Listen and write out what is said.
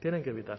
tienen que evitar